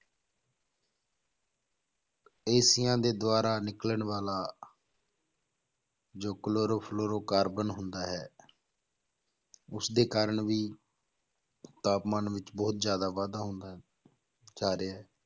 ਏਸੀਆਂ ਦੇ ਦੁਆਰਾ ਨਿਕਲਣ ਵਾਲਾ ਜੋ ਕਲੋਰੋ ਫਲੋਰੋ ਕਾਰਬਨ ਹੁੰਦਾ ਹੈ ਉਸਦੇ ਕਾਰਨ ਵੀ ਤਾਪਮਾਨ ਵਿੱਚ ਬਹੁਤ ਜ਼ਿਆਦਾ ਵਾਧਾ ਹੁੰਦਾ ਜਾ ਰਿਹਾ ਹੈ,